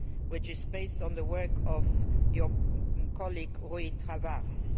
in Hungary, which is based on the work of your colleague Rui